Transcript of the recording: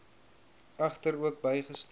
egter ook bygestaan